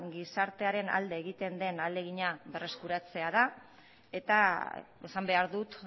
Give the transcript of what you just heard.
gizartearen alde egiten den ahalegina berreskuratzea eta esan behar dut